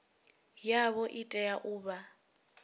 yavho i tea u vha